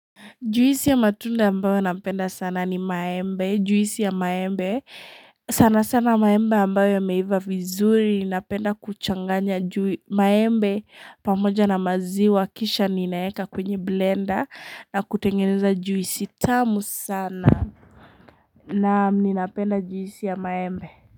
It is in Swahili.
Juisi ya matunda ambayo napenda sana ni maembe juisi ya maembe sana sana maembe ambayo yameiva vizuri napenda kuchanganya juu maembe pamoja na maziwa kisha ninayaweka kwenye blender na kutengeneza juisi tamu sana Naam ninapenda juisi ya maembe.